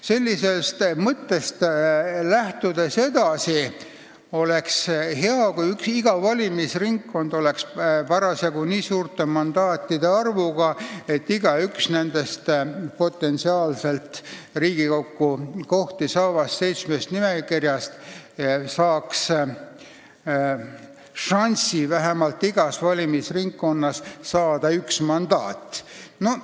Sellisest mõttest lähtudes oleks hea, kui iga valimisringkond oleks parasjagu nii suure mandaatide arvuga, et igaüks neist potentsiaalselt Riigikogus kohti saavast seitsmest nimekirjast saaks šansi saada igast valimisringkonnast vähemalt üks mandaat.